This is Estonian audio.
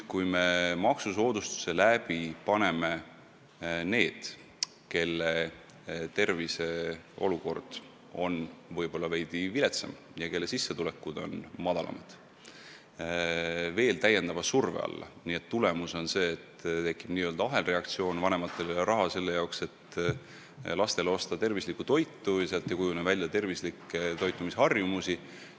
Kui me maksusoodustustega paneme inimesed, kelle tervis on võib-olla veidi viletsam ja kelle sissetulekud on väiksemad, veel täiendava surve alla, siis tulemus on see, et tekib ahelreaktsioon: vanematel ei ole raha selle jaoks, et osta lastele tervislikku toitu, ja nii ei kujune ka välja tervislikke toitumisharjumisi.